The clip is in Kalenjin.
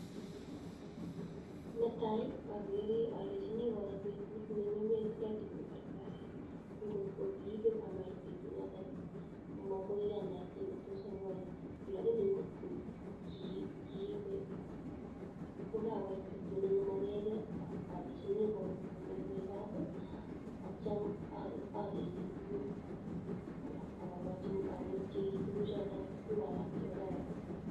Netai akere alechini koro petut neng'emekek tukuk en kartasit kot kokipek komait petunatan ko makoiyan kit netos amwachi , lakini kotko kiibe kokait petut neng'emekee alechini konyoywei kat atyam akerchi tukuk alak akerchi tukuk choto alak chekararan.